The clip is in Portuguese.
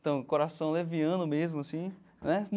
Então, coração leviano mesmo, assim, né?